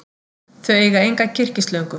Þau eiga enga kyrkislöngu.